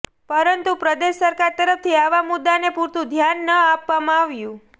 પરંતુ પ્રદેશ સરકાર તરફથી આવા મુદ્દાને પુરતું ધ્યાન ન આપવામાં આવ્યું